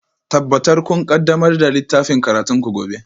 Tabbatar kun ƙaddamar da littafin karatunku gobe